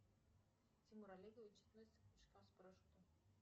тимур олегович относится к прыжкам с парашютом